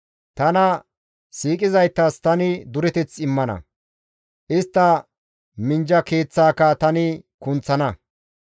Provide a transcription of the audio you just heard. Tana siiqizaytas tani dureteth immana; istta minjja keeththaaka tani kunththana.